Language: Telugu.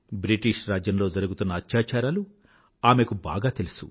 బ్రిటిష్ రాజ్యంలో జరిగుతున్న అత్యాచారాలు అమెకు బాగా తెలుసు